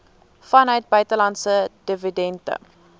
vanuit buitelandse dividende